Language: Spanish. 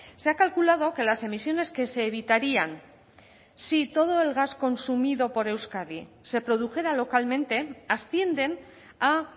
se ha calculado que las emisiones que se evitarían si todo el gas consumido por euskadi se produjera localmente ascienden a